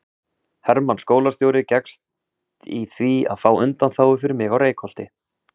Hermann skólastjóri gekkst í því að fá undanþágu fyrir mig á Reykholti.